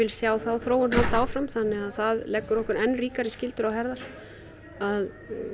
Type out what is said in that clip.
sjá þá þróun halda áfram þannig að það leggur okkur enn ríkari skyldur á herðar að